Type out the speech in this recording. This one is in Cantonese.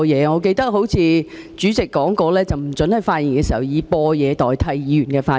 我記得主席說過，議員不可以播放錄音代替發言。